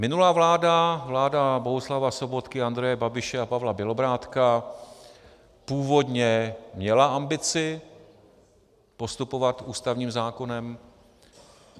Minulá vláda, vláda Bohuslava Sobotky, Andreje Babiše a Pavla Bělobrádka, původně měla ambici postupovat ústavním zákonem.